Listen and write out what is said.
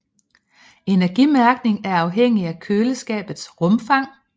Energimærkning er afhængig af køleskabets rumfang